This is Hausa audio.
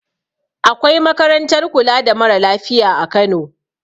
Akwai makarantar kula da mara lafiya a kano